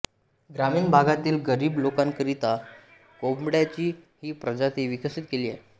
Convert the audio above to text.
ग्रामीण भागातील गरीब लोकांकरिता कोंबड्यांची ही प्रजाती विकसित केली आहे